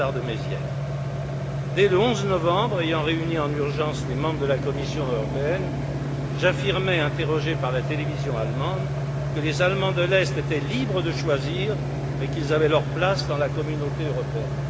Lothar de Maizière. Dès le 11 novembre, ayant réuni en urgence les membres de la Commission européenne, j'affirmais, interrogé par la télévision allemande, que les Allemands de l'Est étaient libres de choisir, mais qu'ils avaient leur place dans la Communauté européenne.